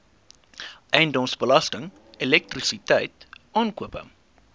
eiendomsbelasting elektrisiteit aankope